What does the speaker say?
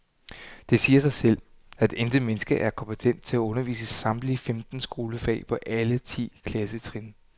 Det siger sig selv, at intet menneske er kompetent til at undervise i samtlige femten skolefag på alle ti klassetrin.